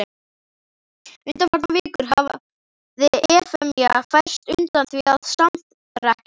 Undanfarnar vikur hafði Efemía færst undan því að samrekkja honum.